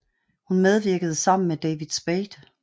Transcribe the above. Hun medvirkede sammen med David Spade